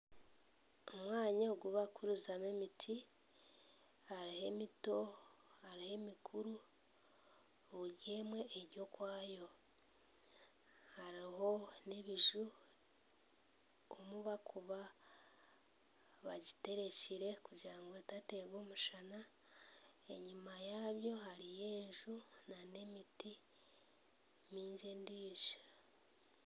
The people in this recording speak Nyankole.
Omwanya ogu bakukurizamu emiti hariho emito hariho emikuru, buri emwe eri okwayo hariho n'ebiju omu barikuba bagibikire kugira ngu etateerwa omushana enyima yaabyo hariyo enju na n'emiti mingi endiijo.